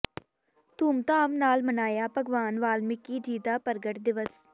ਧੂਮਧਾਮ ਨਾਲ ਮਨਾਇਆ ਭਗਵਾਨ ਵਾਲਮੀਕਿ ਜੀ ਦਾ ਪ੍ਰਗਟ ਦਿਵਸ